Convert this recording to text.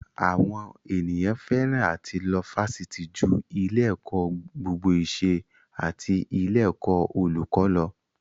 Àwọn ènìyàn fẹ́ràn àti lọ Fásitì ju ilé-ẹ̀kọ́ gbogbo ìṣẹ́ àti ilé-ẹ̀kọ́ olùkó lọ.